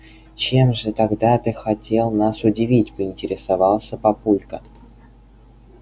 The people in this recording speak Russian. чем же тогда ты хотел нас удивить поинтересовался папулька